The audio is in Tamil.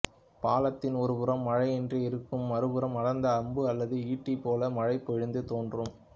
பாளத்தின் ஒரு புறம் மழை இன்றி இருக்கும் மறுபுறம் அடர்ந்த அம்பு அல்லது ஈட்டி போல மழை பொழிந்து தோன்றும்